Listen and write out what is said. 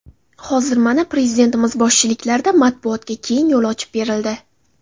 Hozir, mana, Prezidentimiz boshchiliklarida matbuotga keng yo‘l ochib berildi.